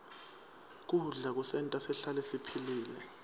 kudla kusenta sihlale siphilile